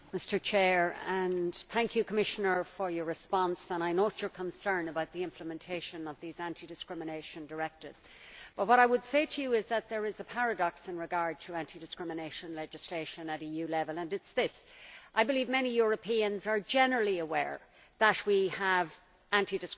Mr President, I should like to thank the Commissioner for her response, and I note her concern about the implementation of these anti discrimination directives. What I would say to you, Commissioner, is that there is a paradox with regard to anti discrimination legislation at EU level, and it is this I believe many Europeans are generally aware that we have anti